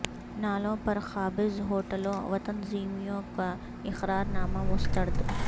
نالوں پر قابض ہوٹلوں وتنظیموں کا اقرار نامہ مسترد